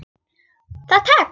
Það tekst.